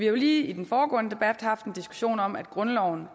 jo i den foregående debat lige haft en diskussion om at grundloven